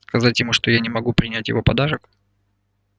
сказать ему что я не могу принять его подарок